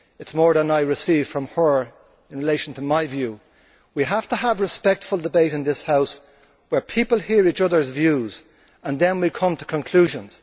It is more than I received from her in relation to my view. We have to have respectful debate in this House, where people hear each other's views and then we come to conclusions.